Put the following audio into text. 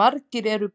Margar eru